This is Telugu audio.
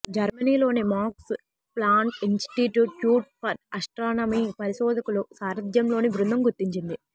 జర్మనీలోని Max Planck Institute for Astronomy పరిశోధకుల సారథ్యంలోని బృందం గుర్తించింది